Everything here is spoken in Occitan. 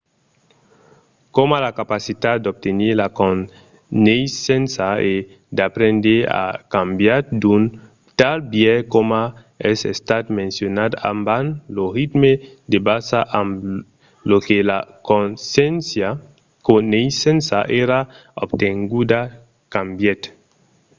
coma la capacitat d'obtenir la coneissença e d’aprendre a cambiat d’un tal biais coma es estat mencionat abans lo ritme de basa amb lo que la coneissença èra obtenguda cambièt